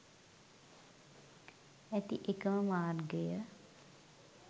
ඇති එකම මාර්ගය